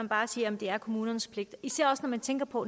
bare siger at det er kommunernes pligt især også når man tænker på